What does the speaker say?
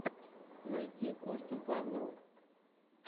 найти костю павлова